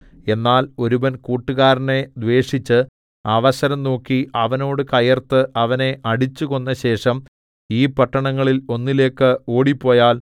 എന്നാൽ ഒരുവൻ കൂട്ടുകാരനെ ദ്വേഷിച്ച് അവസരം നോക്കി അവനോട് കയർത്ത് അവനെ അടിച്ചുകൊന്നശേഷം ഈ പട്ടണങ്ങളിൽ ഒന്നിലേക്ക് ഓടിപ്പോയാൽ